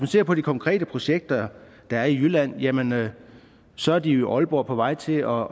ser på de konkrete projekter der er i jylland jamen så er de jo i aalborg på vej til at